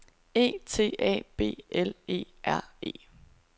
E T A B L E R E